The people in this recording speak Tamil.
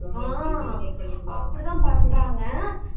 ஆஹ் அப்படிதான் பண்றாங்க